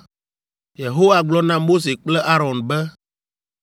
Yehowa gblɔ na Mose kple Aron be,